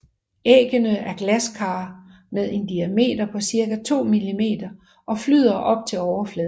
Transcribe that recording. Æggene er glasklare med en diameter på cirka 2 millimeter og flyder op til overfladen